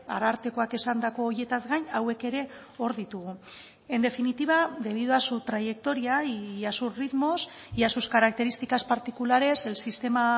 arartekoak esandako horietaz gain hauek ere hor ditugu en definitiva debido a su trayectoria y a sus ritmos y a sus características particulares el sistema